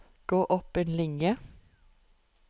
Gå opp en linje